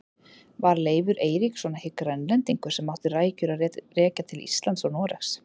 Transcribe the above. Var Leifur Eiríksson ekki Grænlendingur sem átti rætur að rekja til Íslands og Noregs?